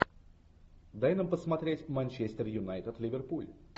дай нам посмотреть манчестер юнайтед ливерпуль